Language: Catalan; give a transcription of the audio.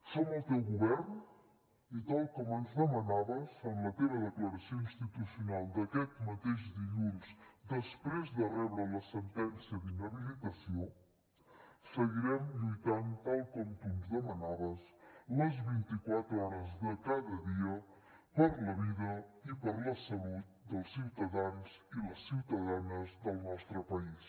som el teu govern i tal com ens demanaves en la teva declaració institucional d’aquest mateix dilluns després de rebre la sentència d’inhabilitació seguirem lluitant tal com tu ens demanaves les vint i quatre hores de cada dia per la vida i per la salut dels ciutadans i les ciutadanes del nostre país